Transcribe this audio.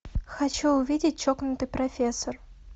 хочу увидеть чокнутый профессор